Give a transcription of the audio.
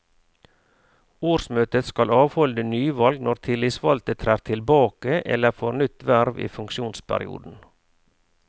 Årsmøtet skal avholde nyvalg når tillitsvalgte trer tilbake eller får nytt verv i funksjonsperioden.